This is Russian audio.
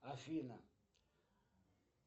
афина